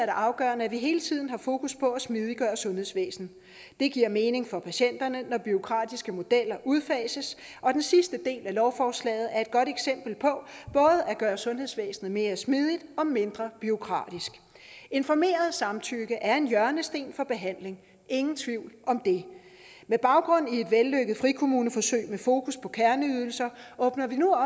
afgørende at vi hele tiden har fokus på at smidiggøre sundhedsvæsenet det giver mening for patienterne når bureaukratiske modeller udfases og den sidste del af lovforslaget er et godt eksempel på at sundhedsvæsenet mere smidigt og mindre bureaukratisk informeret samtykke er en hjørnesten for behandling ingen tvivl om det med baggrund i et vellykket frikommuneforsøg med fokus på kerneydelser åbner vi nu